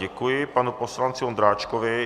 Děkuji panu poslanci Ondráčkovi.